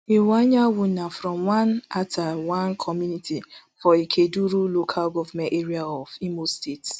iwuanyanwu na from atta one community for ikeduru local government area of imo state